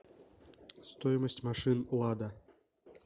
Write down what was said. стоимость машин лада